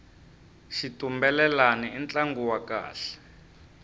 xitumbelelani i ntlangu wa kahle